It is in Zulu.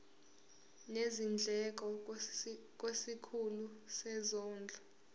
nezindleko kwisikhulu sezondlo